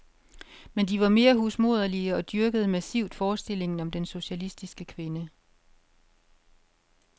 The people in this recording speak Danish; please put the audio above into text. Men de var mere husmoderlige og dyrkede massivt forestillingen om den socialistiske kvinde.